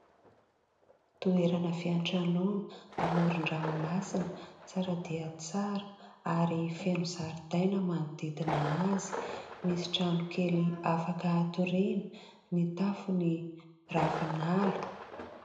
Toerana fiantranoana amoron-dranomasina tsara dia tsara ary feno zaridaina manodidina azy. Misy trano kely afaka atoriana ny tafony ravinala.